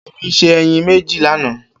Kemi sé èyín méjé lánã